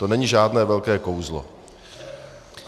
To není žádné velké kouzlo.